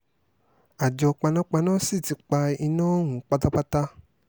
àjọ panápaná sì ti pa iná ọ̀hún pátápátá